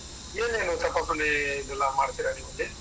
ಏನೇನು ತಪಾಸಣೆ ಇದೆಲ್ಲ ಮಾಡ್ತೀರಾ ನೀವಲ್ಲಿ?